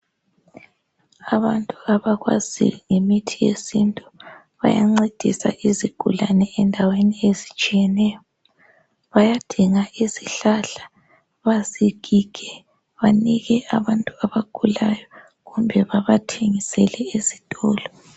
Abantu abakwazi ngemithi yesintu bayancedisa izigulane endaweni ezitshiyeneyo. Bayadinga izihlahla bazigige banike abantu abagulayo kumbe babathengisele ezitolo.